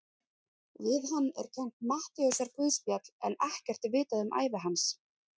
Við hann er kennt Matteusarguðspjall en ekkert er vitað um ævi hans.